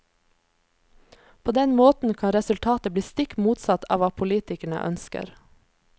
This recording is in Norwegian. På den måten kan resultatet bli stikk motsatt av hva politikerne ønsker.